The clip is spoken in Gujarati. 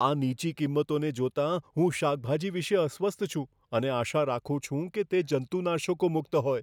આ નીચી કિંમતોને જોતાં, હું શાકભાજી વિશે અસ્વસ્થ છું અને આશા રાખું છું કે તે જંતુનાશકો મુક્ત હોય.